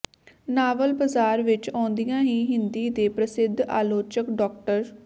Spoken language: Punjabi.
ਨਾਵਲ ਬਾਜ਼ਾਰ ਵਿਚ ਆਉਂਦਿਆਂ ਹੀ ਹਿੰਦੀ ਦੇ ਪ੍ਰਸਿੱਧ ਆਲੋਚਕ ਡਾ